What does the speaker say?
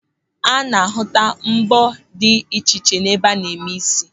A na-ahụta mbọ́ dị iche iche n'ebe a na-eme ísí.